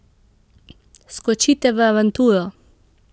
Skočite v avanturo!